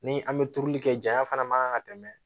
Ni an bɛ turuli kɛ janya fana man kan ka tɛmɛ